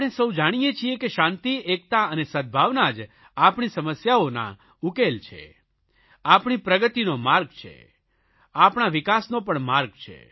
આપણે સહુ જાણીએ છીએ કે શાંતિ એકતા અને સદભાવના જ આપણી સમસ્યાઓના ઉકેલ છે આપણી પ્રગતિનો માર્ગ છે આપણા વિકાસનો પણ માર્ગ છે